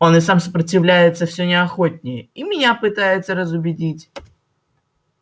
он и сам сопротивляется всё не охотнее и меня пытается разубедить